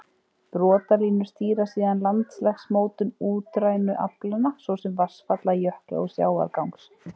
Brotalínur stýra síðan landslagsmótun útrænu aflanna, svo sem vatnsfalla, jökla, og sjávargangs.